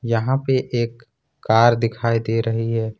यहां पर एक कार दिखाई दे रही है।